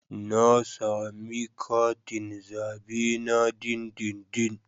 Na sami katin zabe na dindindin.